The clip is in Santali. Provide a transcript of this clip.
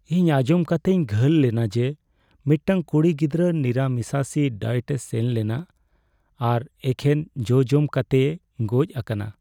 ᱤᱧ ᱟᱸᱡᱚᱢ ᱠᱟᱛᱤᱧ ᱜᱟᱹᱞ ᱞᱮᱱᱟ ᱡᱮ ᱢᱤᱫᱴᱟᱝ ᱠᱩᱲᱤ ᱜᱤᱫᱽᱨᱟᱹ ᱱᱤᱨᱟᱢᱤᱥᱟᱥᱤ ᱰᱟᱭᱮᱴᱮᱭ ᱥᱮᱱ ᱞᱮᱱᱟ ᱟᱨ ᱮᱠᱷᱮᱱ ᱡᱚ ᱡᱚᱢ ᱠᱟᱛᱮᱭ ᱜᱚᱡ ᱟᱠᱟᱱᱟ ᱾